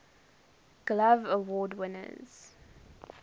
glove award winners